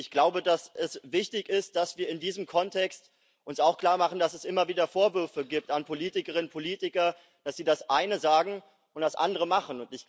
Ich glaube, dass es wichtig ist, dass wir uns in diesem Kontext auch klarmachen, dass es immer wieder Vorwürfe an Politikerinnen und Politiker gibt, dass sie das eine sagen und das andere machen.